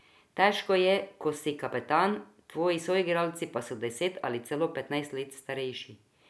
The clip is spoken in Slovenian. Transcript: Težko je, ko si kapetan, tvoji soigralci pa so deset ali celo petnajst let starejši.